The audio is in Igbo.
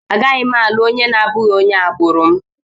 Agaghị m alụ onye na-abụghị onye agbụrụ m.